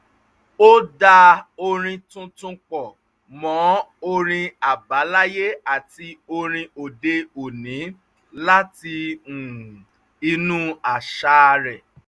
ó dá orin tuntun pọ̀ mọ́ orin àbáláyé àti orin òde-òní láti inú àṣà rẹ